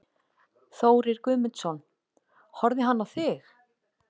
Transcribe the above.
Þórir Guðmundsson: Horfði hann á þig?